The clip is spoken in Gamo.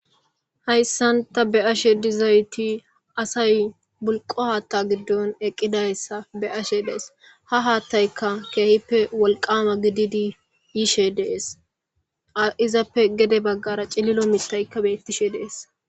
Hayssanta be ashe dizayti asay bulqo haatta giddon eqqidayssa be ashe dees ha haattaykka keehippe wolqama gididi yishe dees izappe gede baggara cililo mitaykka bettishe dees.